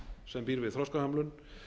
sem býr við þroskahömlun